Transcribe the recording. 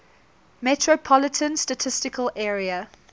metropolitan statistical area